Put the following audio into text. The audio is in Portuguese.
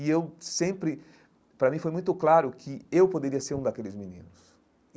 E eu sempre, para mim, foi muito claro que eu poderia ser um daqueles meninos.